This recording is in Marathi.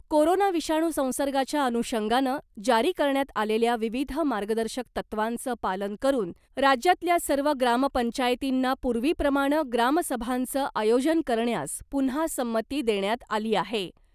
कोरोना विषाणू संसर्गाच्या अनुषंगानं जारी करण्यात आलेल्या विविध मार्गदर्शक तत्त्वांचं पालन करून , राज्यातल्या सर्व ग्रामपंचायतींना पूर्वीप्रमाणं ग्रामसभांचं आयोजन करण्यास पुन्हा संमती देण्यात आली आहे .